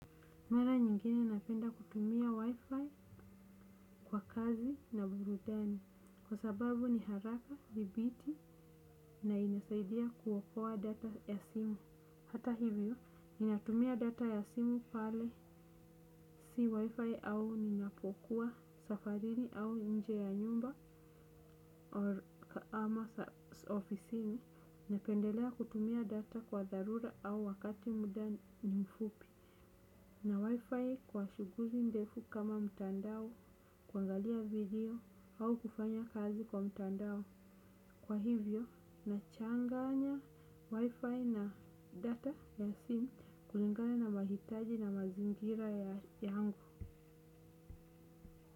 Mara nyingine napenda kutumia Wi-Fi kwa kazi na burudani kwa sababu ni haraka, thibiti na inasaidia kuokoa data ya simu. Hata hivyo, ninatumia data ya simu pale si Wi-Fi au ninapokuwa safarini au nje ya nyumba ama ofisini, napendelea kutumia data kwa dharura au wakati muda ni mfupi. Na Wi-Fi kwa shughuli ndefu kama mtandao, kuangalia video. Au kufanya kazi kwa mtandao, kwa hivyo, nachanganya Wi-Fi na data ya simu kulingana na mahitaji na mazingira yangu.